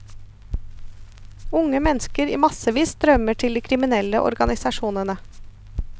Unge mennesker i massevis strømmer til de kriminelle organisasjonene.